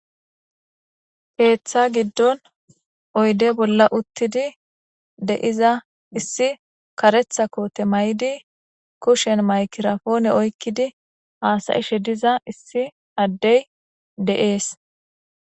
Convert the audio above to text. Keeththa giddon oyde bolla uttidi deiza issi karetha koote may7di kushen maykirafoone oykkidi haasayishe diza issi addey de''ees.